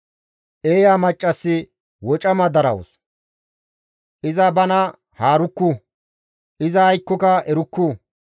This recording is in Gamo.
Eeya maccassi wocama darawus; iza bana haarukku; iza aykkoka erukku.